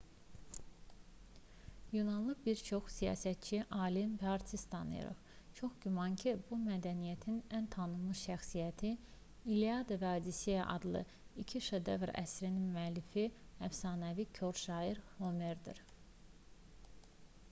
yunanlı bir çox siyasətçi alim və artist tanıyırıq. çox güman ki bu mədəniyyətin ən tanınmış şəxsiyyəti i̇lliada və odisseya adlı iki şedevr əsərin müəllifi əfsanəvi kor şair homerdir